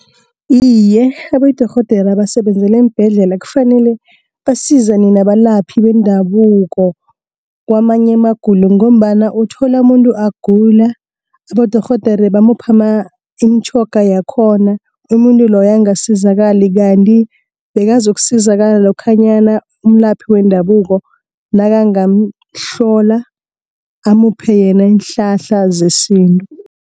Iye, abodorhodera abasebenzela eembhedlela kfanele basizane nabalaphi bendabuko, kwamanye amagulo ngombana uthola umuntu agula, abodorhodere bamupha imitjhoga yakhona umuntu loyo, angasizakali. Kanti bekazokusizakala lokhanyana umlaphi wendabuko nakangamhlola amuphe yena iinhlahla zesintu.